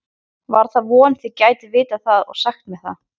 var að vona þið gætuð vitað það og sagt mér það